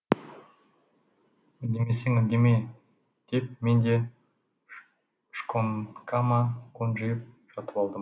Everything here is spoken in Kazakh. үндемесең үндеме деп мен де шконкама қонжиып жатып алдым